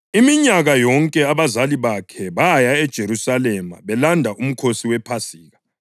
Iminyaka yonke abazali bakhe baya eJerusalema belanda uMkhosi wePhasika.